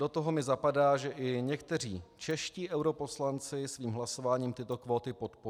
Do toho mi zapadá, že i někteří čeští europoslanci svým hlasováním tyto kvóty podpořili.